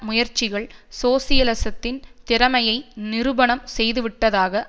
முயற்சிகள் சோசியலிசத்தின் திறமையை நிரூபணம் செய்துவிட்டதாக